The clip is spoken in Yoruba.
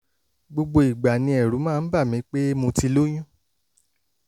gbogbo ìgbà ni ẹ̀rù máa ń bà mí pé mo ti lóyún